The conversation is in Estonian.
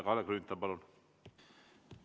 Kalle Grünthal, palun!